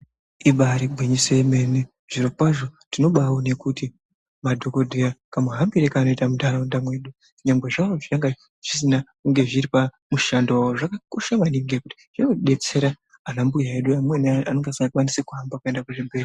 Ibaari gwinyiso remene, zvirokwazvo tinobaaona kuti madhokodheya kamuhambire kaanoita muntaraunda mwedu nyangwe zvazvo zvanga zvisina kunge zviri pamushando wawo zvakakosha maningi ngekuti zvinodetsera ana mbuya edu anenge asikakoni kuhamba kuende kuzvibhedhlera.